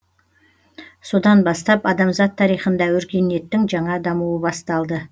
содан бастап адамзат тарихында өркениеттің жаңа дамуы басталды